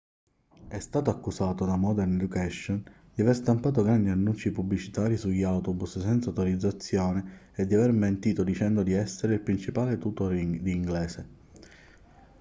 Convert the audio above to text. è stato accusato da modern education di aver stampato grandi annunci pubblicitari sugli autobus senza autorizzazione e di aver mentito dicendo di essere il principale tutor di inglese